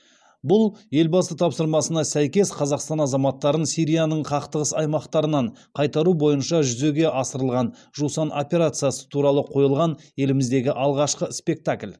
бұл елбасы тапсырмасына сәйкес қазақстан азаматтарын сирияның қақтығыс аймақтарынан қайтару бойынша жүзеге асырылған жусан операциясы туралы қойылған еліміздегі алғашқы спектакль